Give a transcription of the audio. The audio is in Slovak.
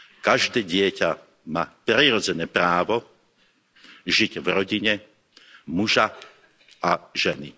Každé dieťa má prirodzené právo žiť v rodine muža a ženy.